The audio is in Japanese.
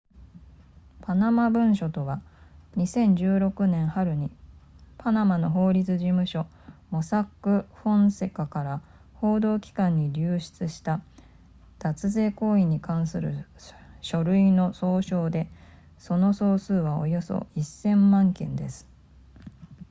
「パナマ文書とは」、2016年春にパナマの法律事務所モサック・フォンセカから報道機関に流出した脱税行為に関する書類の総称で、その総数はおよそ1000万件です